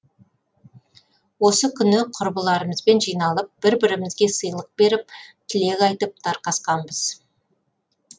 осы күні құрбыларымызбен жиналып бір бірімізге сыйлық беріп тілектер айтып тарқасқанбыз